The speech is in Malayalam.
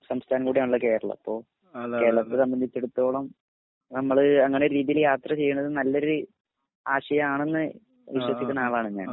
സംസ്ഥാനംകൂടെണല്ലോ കേരളം അപ്പൊ കേരളത്തെ സംബന്ധിച്ചടത്തോളം നമ്മൾ അങ്ങനെ രീതീല് യാത്രചെയ്യണത് നല്ലൊരു ആശയാണെന്ന് വിശ്വസിക്കുന്ന ആളാണ് ഞാൻ